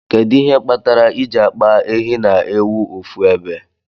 Kedu ihe kpatar iji akpa ehi na ewu ofu ebe?